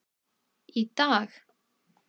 Í dag?